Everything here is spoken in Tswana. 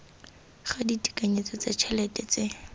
ga ditekanyetso tsa ditšhelete tse